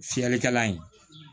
Fiyɛlikɛla ye